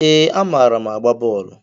Ee, amaara m agba bọọlu.